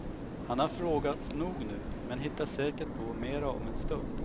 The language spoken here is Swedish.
Han har frågat nog nu men hittar säkert på mera om en stund.